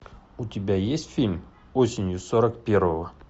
у тебя есть фильм осенью сорок первого